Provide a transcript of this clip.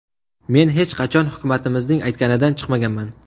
Men hech qachon hukumatimizning aytganidan chiqmaganman.